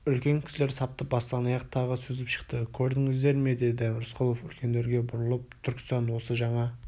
үлкен кісілер сапты бастан-аяқ тағы сүзіп шықты көрдіңіздер ме деді рысқұлов үлкендерге бұрылып түркістан осы жаңа